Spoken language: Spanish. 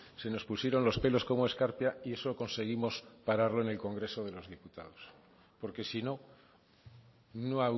se nos pusieron los pelos como escarpia y eso conseguimos pararlo en el congreso de los diputados porque si no no